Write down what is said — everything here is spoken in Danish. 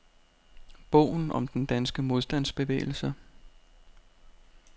Bogen om den danske modstandsbevægelse.